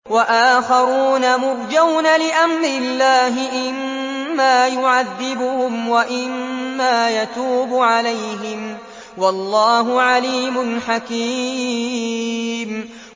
وَآخَرُونَ مُرْجَوْنَ لِأَمْرِ اللَّهِ إِمَّا يُعَذِّبُهُمْ وَإِمَّا يَتُوبُ عَلَيْهِمْ ۗ وَاللَّهُ عَلِيمٌ حَكِيمٌ